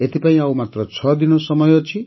ଏଥିପାଇଁ ଆଉ ମାତ୍ର ଛଅ ଦିନ ସମୟ ଅଛି